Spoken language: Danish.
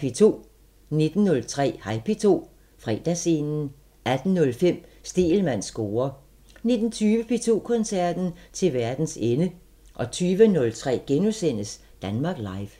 10:03: Hej P2 – Fredagsscenen 18:05: Stegelmanns score 19:20: P2 Koncerten – Til verdens ende 02:03: Danmark Live *